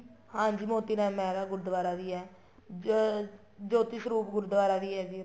ਹਾਂਜੀ ਮੋਤੀ ਰਾਮ ਮਹਿਰਾ ਦਾ ਗੁਰੂਦਵਾਰਾ ਵੀ ਹੈ ਜੋਤੀ ਸਰੂਪ ਗੁਰੂਦਵਾਰਾ ਵੀ ਹੈ ਜੀ ਉੱਥੇ